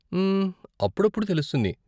మ్మ్, అప్పుడప్పుడు తెలుస్తుంది.